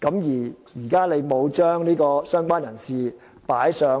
如果"相關人士"不與"親屬"